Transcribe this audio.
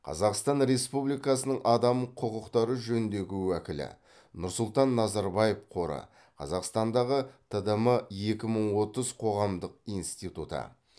қазақстан республикасының адам құқықтары жөніндегі уәкілі нұрсұлтан назарбаев қоры қазақстандағы тдм екі мың отыз қоғамдық институты